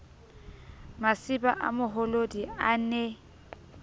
masiba a moholodi a ne